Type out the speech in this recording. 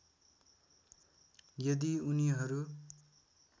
यदि उनीहरु